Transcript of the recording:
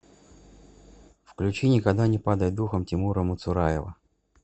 включи никогда не падай духом тимура муцураева